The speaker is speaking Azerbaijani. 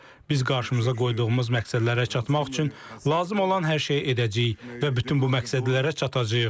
Biz qarşımıza qoyduğumuz məqsədlərə çatmaq üçün lazım olan hər şeyi edəcəyik və bütün bu məqsədlərə çatacağıq.